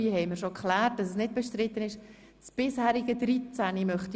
Wir haben sie und es braucht sie und sie sind wichtig.